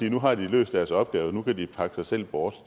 at nu har de løst deres opgave og nu kan de pakke sig selv bort